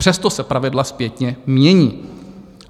Přesto se pravidla zpětně mění.